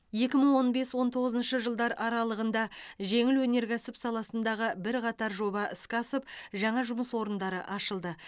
екі мың он бес он тоғызыншы жылдар аралығында жеңіл өнеркәсіп саласындағы бірқатар жоба іске асып жаңа жұмыс орындары ашылды